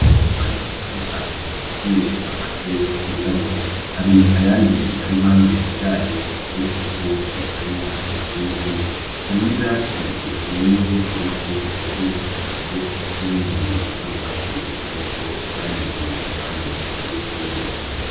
Inkorofani nini cane yuzuye amase yirabura hari ayandi arimpande yayo ateretseko ikanya ishizemwo , hari n'ivyatsi vyumye ubonako vyaribiyifukishije n'ibindi bisa n'urwatsi rutoto Vyameze impande y'ifumbire.